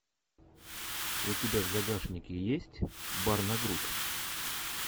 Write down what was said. у тебя в загашнике есть бар на грудь